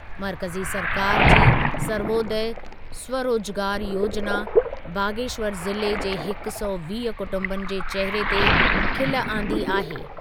मर्कज़ी सरकारि जी सर्वोदय स्वरोजगार योजिना बागेश्वर ज़िले जे हिक सौ वीह कुटुंबनि जे चेहिरे ते खिलु आंदी आहे।